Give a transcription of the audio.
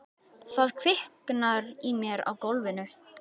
Það kviknar í mér á gólfinu.